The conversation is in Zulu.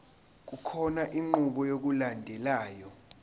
kukhona inqubo yokulandelayo